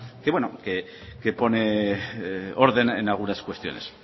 que pone orden en algunas cuestiones